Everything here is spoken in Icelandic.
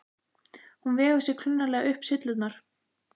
Hún vegur sig klunnalega upp syllurnar.